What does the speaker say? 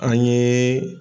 An ye